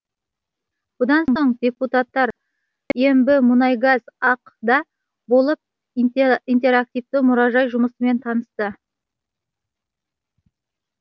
бұдан соң депутаттар ембімұнайгаз ақ да болып интерактивті мұражай жұмысымен танысты